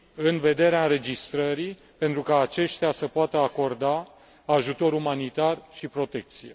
în vederea înregistrării, pentru ca aceștia să poată acorda ajutor umanitar și protecție.